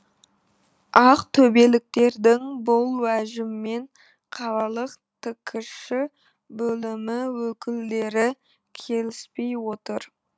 ақтөбеліктердің бұл уәжімен қалалық ткш бөлімі өкілдері келіспей отыр